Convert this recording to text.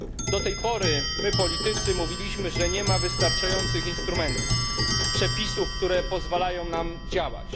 Do tej pory my, politycy, mówiliśmy, że nie ma wystarczających instrumentów, przepisów, które pozwalają nam działać.